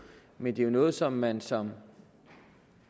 men det er jo noget som man som